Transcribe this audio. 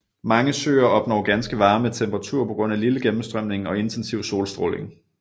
Mange søer opnår ganske varme temperaturer på grund af lille gennemstrømning og intensiv solstråling